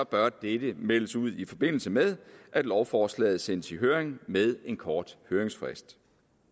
bør dette meldes ud i forbindelse med at lovforslaget sendes i høring med en kort høringsfrist